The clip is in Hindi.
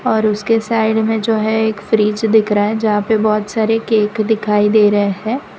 और उसके साइड में जो है एक फ्रिज दिख रहा है जहां पे बहोत सारे केक दिखाई दे रहे है।